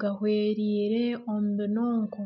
gahwereire omu binoonko.